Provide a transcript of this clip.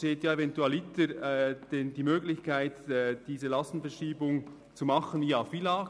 Es besteht eventualiter die Möglichkeit, diese Lastenverschiebung über das FILAG auszugleichen.